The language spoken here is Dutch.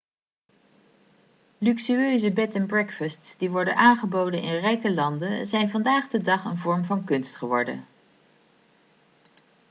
luxueuze bed and breakfasts die worden aangeboden in rijke landen zijn vandaag de dag een vorm van kunst geworden